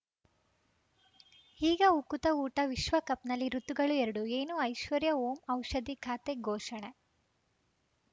ಈಗ ಉಕುತ ಊಟ ವಿಶ್ವಕಪ್‌ನಲ್ಲಿ ಋತುಗಳು ಎರಡು ಏನು ಐಶ್ವರ್ಯಾ ಓಂ ಔಷಧಿ ಖಾತೆ ಘೋಷಣೆ